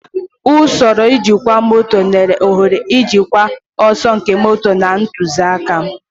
Usoro njikwa moto nyere ohere ijikwa ọsọ nke moto na ntụzịaka.